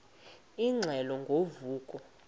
ingxelo ngo vuko